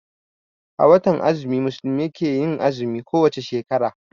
A watan azumi musulmai ke yin azumi ko wace shekara